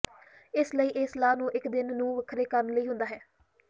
ਇਸ ਲਈ ਇਹ ਸਲਾਹ ਨੂੰ ਇੱਕ ਦਿਨ ਨੂੰ ਵੱਖਰੇ ਕਰਨ ਲਈ ਹੁੰਦਾ ਹੈ